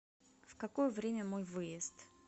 в какое время мой выезд